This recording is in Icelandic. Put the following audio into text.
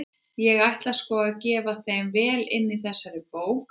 Ég ætla sko að gefa þeim vel inn í þessari bók!